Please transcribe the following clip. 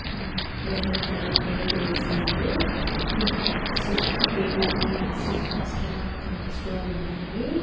మ్మ్ maroon colour paint వేసున్నారు ఇక్కడ సిస్ట్ టేబుల్ పైన సిస్టమ్స్ కూడా కనిపిస్తూ ఉన్నాయి.